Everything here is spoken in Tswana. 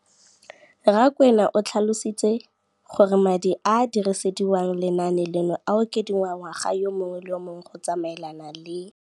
Rakwena o tlhalositse gore madi a a dirisediwang lenaane leno a okediwa ngwaga yo mongwe le yo mongwe go tsamaelana le